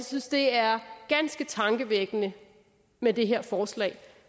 synes det er ganske tankevækkende med det her forslag